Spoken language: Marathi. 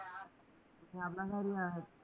मामाकडे आहे.